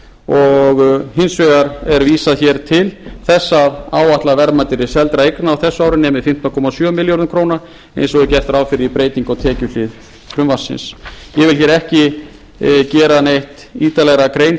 og hins vegar er vísað hér til þess að áætlað verðmæti seldra eigna á þessu ári nemi fimmtán komma sjö milljörðum króna eins og gert er ráð fyrir í breytingu á tekjuhlið frumvarpsins ég vil hér ekki gera neitt ítarlegra grein